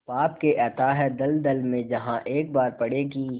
पाप के अथाह दलदल में जहाँ एक बार पड़े कि